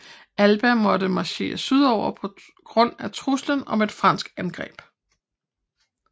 Alba måtte marchere sydover på grund af truslen om et fransk angreb